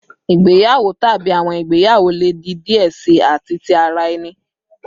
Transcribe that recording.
Igbeyawo tabi awọn igbeyawo le di diẹ sii ati ti ara ẹni